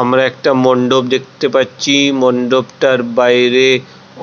আমরা একটা মন্ডপ দেখতে পাচ্ছি.। মন্ডপটার বাইরে